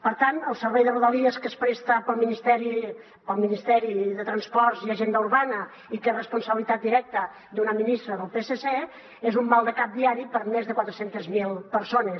per tant el servei de rodalies que es presta pel ministeri de transports mobilitat i agenda urbana i que és responsabilitat directa d’una ministra del psc és un maldecap diari per a més de quatre cents miler persones